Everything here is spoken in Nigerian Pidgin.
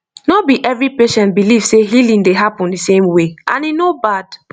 no be every patient believe say healing dey happen the same way and e no bad